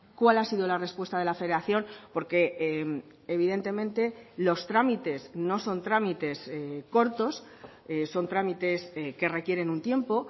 cuál ha sido la respuesta de la federación porque evidentemente los trámites no son trámites cortos son trámites que requieren un tiempo